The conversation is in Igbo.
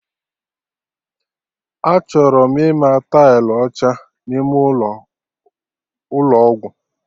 Achọrọ m ịma tailụ ọcha n'ime ụlọ, Ụlọ ọgwụ